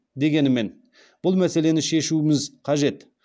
дегенмен бұл мәселені шешуіміз қажет